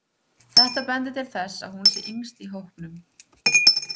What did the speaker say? Þetta bendir til þess að hún sé yngst í hópnum.